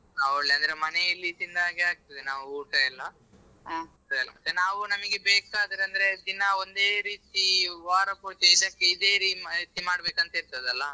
ಆ ಒಳ್ಳೆ ಅಂದ್ರೆ ಮನೆಯಲ್ಲಿ ತಿಂದಾಗೆ ಆಗ್ತದೆ ನಾವು ಊಟ ಎಲ್ಲ ಮತ್ತೆ ನಾವು ನಮಗೆ ಬೇಕಾದ್ರೆ ಅಂದ್ರೆ ದಿನ ಒಂದೇ ರೀತಿ ವಾರಪೂರ್ತಿ ಇದೇ ರೀತಿ ಮಾಡ್ಬೇಕಂತ ಇರ್ತದಲ್ಲಾ.